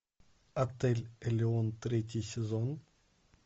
отель элеон третий сезон